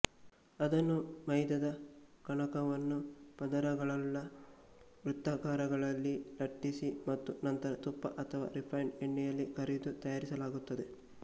ಅದನ್ನು ಮೈದಾದ ಕಣಕವನ್ನು ಪದರಗಳುಳ್ಳ ವೃತ್ತಾಕಾರಗಳಲ್ಲಿ ಲಟ್ಟಿಸಿ ಮತ್ತು ನಂತರ ತುಪ್ಪ ಅಥವಾ ರೀಫ಼ೈನ್ಡ್ ಎಣ್ಣೆಯಲ್ಲಿ ಕರಿದು ತಯಾರಿಸಲಾಗುತ್ತದೆ